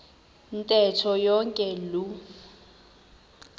ntetho yonke loo